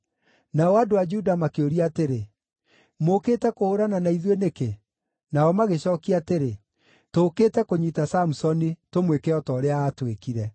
Nao andũ a Juda makĩũria atĩrĩ, “Mũũkĩte kũhũũrana na ithuĩ nĩkĩ?” Nao magĩcookia atĩrĩ, “Tũũkĩte kũnyiita Samusoni, tũmwĩke o ta ũrĩa aatwĩkire.”